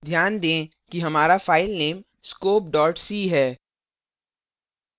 ध्यान दें कि हमारा file scope c है